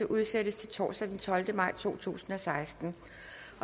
udsættes til torsdag den tolvte maj to tusind og seksten